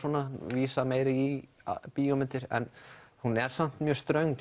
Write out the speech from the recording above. vísa meira í bíómyndir hún er samt mjög ströng